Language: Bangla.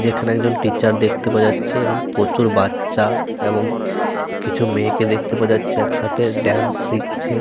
যেখানে একজন টিচার দেখতে পাওয়া যাচ্ছে এবং প্রচুর বাচ্চা এবং কিছু মেয়েকে দেখতে পাওয়া যাচ্ছে একসাথে ডান্স শিখছে।